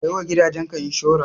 Ka yi wa gidaje ka inshora.